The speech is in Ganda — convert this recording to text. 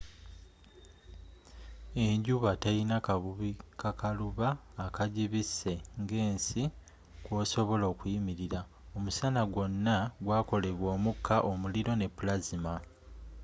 enjuba telina kabubi kakaluba akagibise nga ensi kwosobola okuyimirila omusana gwona gwakolebwa omuka omuliro ne plasma